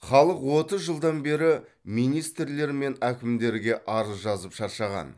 халық отыз жылдан бері министрлер мен әкімдерге арыз жазып шаршаған